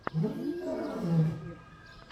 микс мистер гир